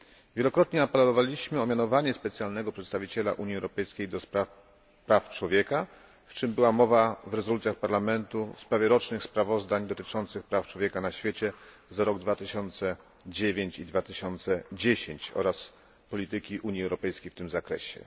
Wielokrotnie apelowaliśmy o mianowanie specjalnego przedstawiciela Unii Europejskiej do spraw praw człowieka, o czym była mowa w rezolucjach Parlamentu w sprawie rocznych sprawozdań dotyczących praw człowieka na świecie za rok 2009 i 2010 oraz polityki Unii Europejskiej w tym zakresie.